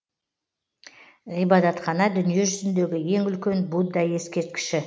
ғибадатхана дүниежүзіндегі ең үлкен будда ескерткіші